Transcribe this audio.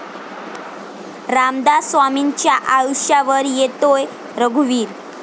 रामदास स्वामींच्या आयुष्यावर येतोय 'रघुवीर'